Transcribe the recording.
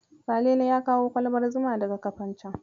Salele ya kawo kwalbar zuma daga Kafancen.